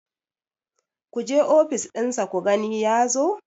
ku je ofis ɗinsa ku gani ya zo!